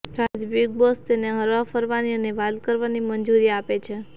સાથે જ Bigg Boss તેને હરવાફરવાની અને વાત કરવાની મંજૂરી આપે છે